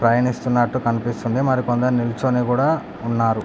ప్రయాణిస్తున్నటు కనిపిస్తూ ఉంది మరి కొందరు కొందరు నిల్చొని కుడా ఉన్నారు.